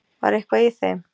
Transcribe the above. Var eitthvað í þeim?